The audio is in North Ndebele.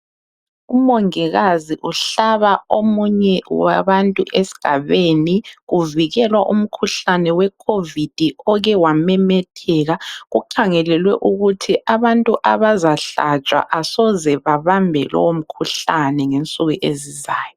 Umongikazi uhlaba omunye wabantu esigabeni. Uvikelwa umkhuhlane we Covid okewamemetheka. Kukhangelelwe ukuthi abantu abazahlatshwa asoze babambe lomkhuhlane ngensuku ezizayo.